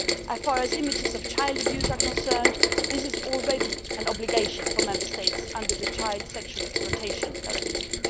As far as images of child abuse are concerned, there is already an obligation for Member States under the Child Sexual Exploitation Directive.